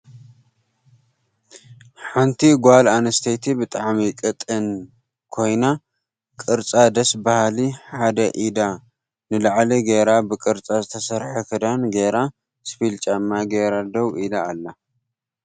ሓንቲ ጋል ኣንስተይቲ ብጣዕሚ ቅጣን ኮይና ቅርፃ ደስ በሃሊ ሓድ ኢዳ ንላዕሊ ገይራ ብቅርፃ ዝተሰርሐ ክዳን ጌራ እስፒል ጫማ ጌራ ደዉ ኢላ ኣላ።